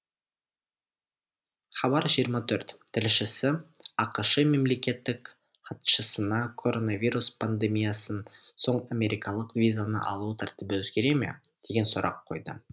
хабар жиырма төрт тілшісі ақш мемлекеттік хатшысына коронавирус пандемиясынан соң америкалық визаны алу тәртібі өзгере ме деген сұрақ қойды